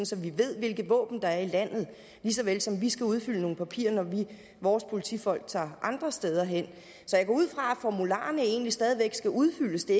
så vi ved hvilke våben der er i landet lige så vel som vi skal udfylde nogle papirer når vores politifolk tager andre steder hen så jeg går ud fra at formularerne egentlig stadig væk skal udfyldes det